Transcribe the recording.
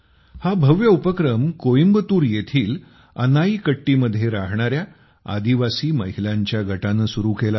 हा भव्य उपक्रम कोईम्बतूर येथील अनाईकट्टीमध्ये राहणाऱ्या आदिवासी महिलांच्या गटाने सुरु केला आहे